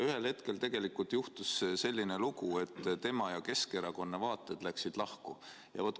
Ühel hetkel juhtus aga selline lugu, et tema ja Keskerakonna vaated läksid lahku.